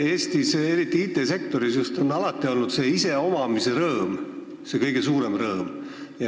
Eestis, eriti just IT-sektoris on alati olnud iseomamise rõõm see kõige suurem rõõm.